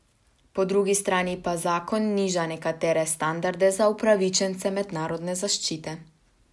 Po drugi strani pa zakon niža nekatere standarde za upravičence mednarodne zaščite.